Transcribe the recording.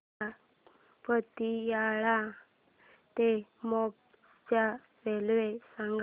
मला पतियाळा ते मोगा च्या रेल्वे सांगा